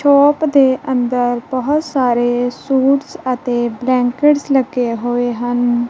Shop ਦੇ ਅੰਦਰ ਬਹੁਤ ਸਾਰੇ ਸੂਟਸ ਅਤੇ ਬਲੈਂਕਟਸ ਲੱਗੇ ਹੋਏ ਹਨ।